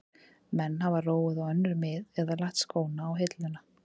Menn hafa róið á önnur mið eða lagt skóna á hilluna.